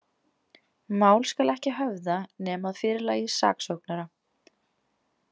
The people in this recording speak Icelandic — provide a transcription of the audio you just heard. Mál skal ekki höfða, nema að fyrirlagi saksóknara.